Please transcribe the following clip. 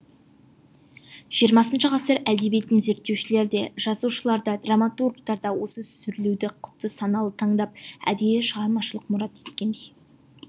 жиырмасыншы ғасыр әдебиетін зерттеушілер де жазушылар да драматургтар да осы сүрлеуді құдды саналы таңдап әдейі шығармашылық мұрат еткендей